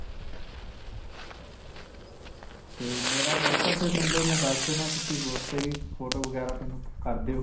'ਤੇ ਮੇਰਾ whatsapp number ਮੈਂ ਦਸ ਦਿੰਨਾਂ, ਤੁਸੀਂ ਓਸ 'ਤੇ ਵੀ photo ਵਗੈਰਾ ਮੇਨੂੰ ਕਰ ਦਿਓ.